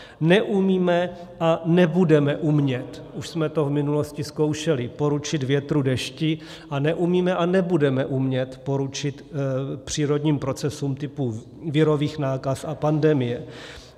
Neumíme a nebudeme umět, už jsme to v minulosti zkoušeli, poručit větru, dešti a neumíme a nebudeme umět poručit přírodním procesům typu virových nákaz a pandemie.